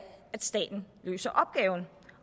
at staten løser opgaven